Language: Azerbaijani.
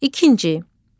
İkinci.